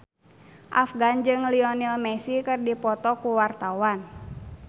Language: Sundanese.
Afgan jeung Lionel Messi keur dipoto ku wartawan